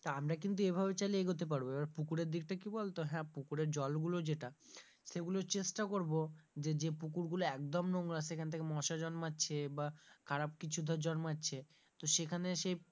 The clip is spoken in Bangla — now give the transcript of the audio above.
তা আমরা কিন্তু এভাবে চাইলে এগোতে পারবো, এবার পুকুরের দিকটা কি বলতে হ্যাঁ পুকুরের জল গুলো যেটা সেগুলো চেষ্টা করবো যে যে পুকুর গুলো একদম নোংরা সেখান থেকে মশা জন্মাচ্ছে বা খারাপ কিছু ধর জন্মাচ্ছে তো সেখানে,